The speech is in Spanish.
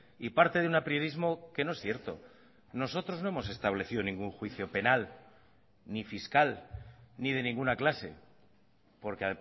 y parte de un apriorismo que no es cierto nosotros no hemos establecido ningún juicio penal ni fiscal ni de ninguna clase porque